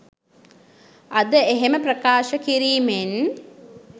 අද එහෙම ප්‍රකාශ කිරීමෙන්